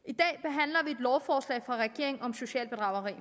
i lovforslag fra regeringen om socialt bedrageri